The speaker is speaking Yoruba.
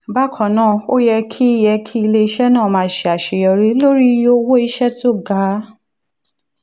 bákan náà ó yẹ kí yẹ kí ilé-iṣẹ́ náà máa ṣe àṣeyọrí lórí iye owó iṣẹ́ tó ga